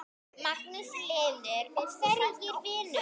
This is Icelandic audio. Magnús Hlynur: Og hvernig vinur?